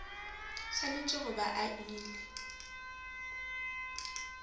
swanetše go ba a ile